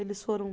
Eles foram